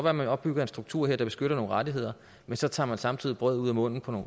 at man opbygger en struktur her der beskytter nogle rettigheder men så tager man samtidig brødet ud af munden på